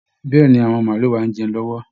Bẹ́ẹ̀ ni, àwọn màálù wa ń jẹun lọ́wọ́